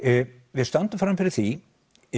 við stöndum frammi fyrir því